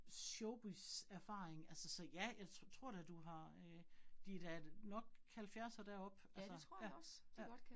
Showbizerfaring altså så ja, jeg tror da du har øh de da nok 70 og deroppe altså, ja, ja